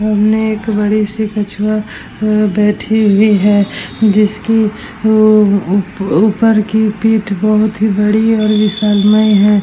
सामने एक बड़ी सी कछुवा बैठी हुई है जिसकी उ उ ऊपर कि पीठ बहुत बड़ी और विशालमय है।